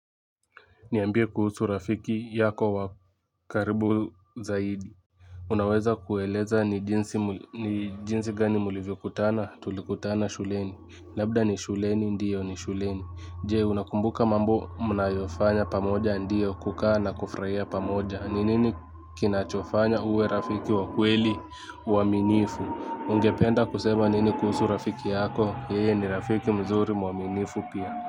Niambie kuhusu rafiki yako wa karibu zaidi unaweza kueleza ni jinsi gani mlivyokutana tulikutana shuleni labda ni shuleni ndio ni shuleni je unakumbuka mambo mnayofanya pamoja ndio kukaa na kufraia pamoja ni nini kinachofanya uwe rafiki wa kweli uaminifu ungependa kusema nini kuhusu rafiki yako yeye ni rafiki mzuri mwaminifu pia.